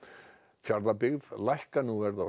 Fjarðabyggð lækkar nú verð á